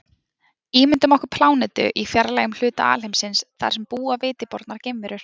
Ímyndum okkur plánetu í fjarlægum hluta alheimsins þar sem búa viti bornar geimverur.